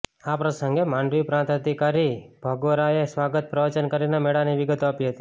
આ પ્રસંગે માંડવી પ્રાંત અધિકારી ભગોરાએ સ્વાગત પ્રવચન કરીને મેળાની વિગતો આપી હતી